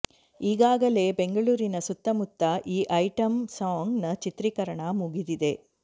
ಈಗಾಗಲೇ ಬೆಂಗಳೂರಿನ ಸುತ್ತಮುತ್ತ ಈ ಐಟಂ ಸಾಂಗ್ ನ ಚಿತ್ರೀಕರಣ ಮುಗಿದಿದೆ